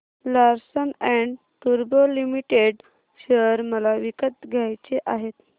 Larsen and टुर्बो Limited share मला विकत घ्यायचे आहेत